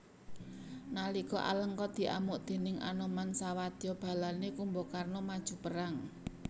Nalika Alengka diamuk déning Anoman sawadya balane Kumbakarna maju perang